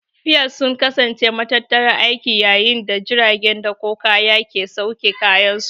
Piers sun kasance matattarar aiki yayin da jiragen dakon kaya ke sauke kayansu.